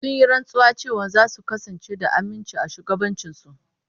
Sun yi rantsuwa cewa za su kasance da aminci a shugabancinsu.